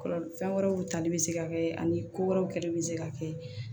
Kɔlɔlɔ fɛn wɛrɛw tali bɛ se ka kɛ ani ko wɛrɛw kɛli bɛ se ka kɛ